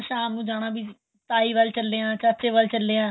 ਤਾਂ ਸ਼ਾਮ ਨੂੰ ਜਾਣਾ ਤਾਹੇ ਵੱਲ ਚੱਲੇ ਆਂ ਚਾਚੇ ਵੱਲ ਚੱਲੇ ਆਂ